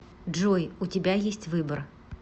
джой у тебя есть выбор